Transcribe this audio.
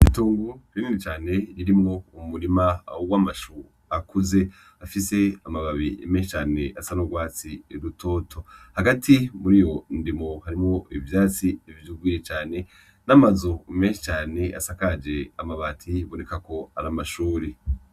Ibitungu binini cane birimwo umurima w'amashu akuze afise amababi menshi cane asa n'urwatsi rutoto hagati muriyo ndimo harimwo ivyatsi vyuzuye cane n'amazu menshi cane asakaje amabati biboneka ko ari amashure.